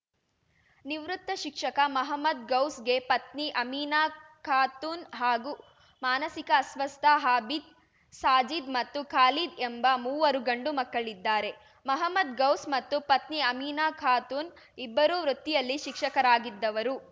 ನಿವೃತ್ತ ಶಿಕ್ಷಕ ಮಹಮ್ಮದ್‌ ಗೌಸ್‌ಗೆ ಪತ್ನಿ ಅಮಿನಾ ಖಾತೂನ್‌ ಹಾಗೂ ಮಾನಸಿಕ ಅಸ್ವಸ್ಥ ಹಾಬೀದ್‌ ಸಾಜೀದ್‌ ಮತ್ತು ಖಾಲೀದ್‌ ಎಂಬ ಮೂವರು ಗಂಡುಮಕ್ಕಳಿದ್ದಾರೆ ಮಹಮ್ಮದ್‌ ಗೌಸ್‌ ಮತ್ತು ಪತ್ನಿ ಅಮಿನಾ ಖಾತೂನ್‌ ಇಬ್ಬರೂ ವೃತ್ತಿಯಲ್ಲಿ ಶಿಕ್ಷಕರಾಗಿದ್ದವರು